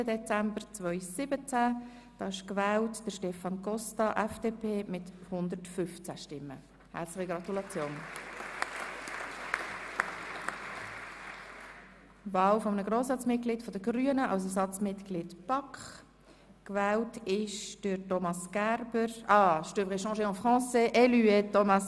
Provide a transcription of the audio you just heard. Bei 117 ausgeteilten und 116 eingegangenen Wahlzetteln, wovon leer 5 und ungültig 0, in Betracht fallend 111, wird bei einem absoluten Mehr von 56 gewählt: